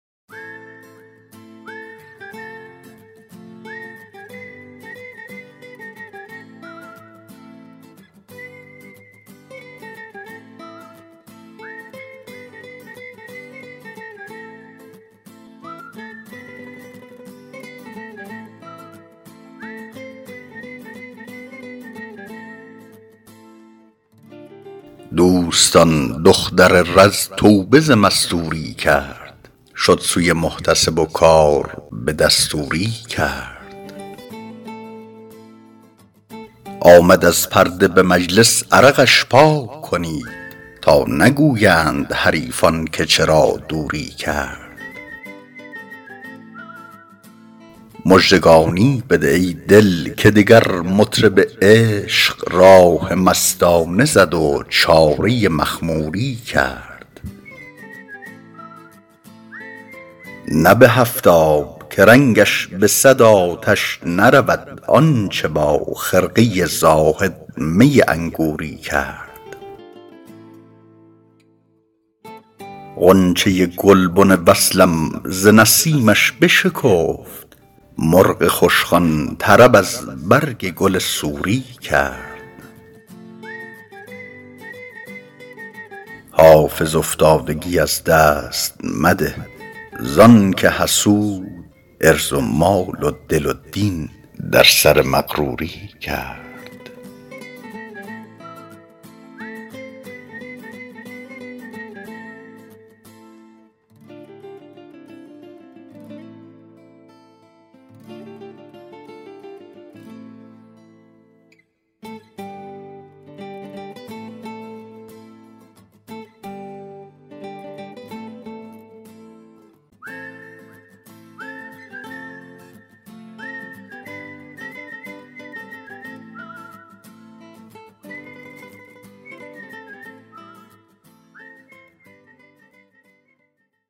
دوستان دختر رز توبه ز مستوری کرد شد سوی محتسب و کار به دستوری کرد آمد از پرده به مجلس عرقش پاک کنید تا نگویند حریفان که چرا دوری کرد مژدگانی بده ای دل که دگر مطرب عشق راه مستانه زد و چاره مخموری کرد نه به هفت آب که رنگش به صد آتش نرود آن چه با خرقه زاهد می انگوری کرد غنچه گلبن وصلم ز نسیمش بشکفت مرغ خوشخوان طرب از برگ گل سوری کرد حافظ افتادگی از دست مده زان که حسود عرض و مال و دل و دین در سر مغروری کرد